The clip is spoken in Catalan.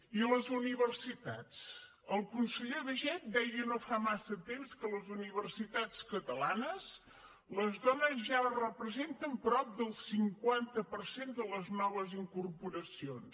i a les universitats el conseller baiget deia no fa massa temps que a les universitats catalanes les dones ja representen prop del cinquanta per cent de les noves incorporacions